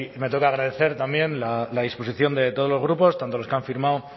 me toca agradecer también la disposición de todos los grupos tanto los que han firmado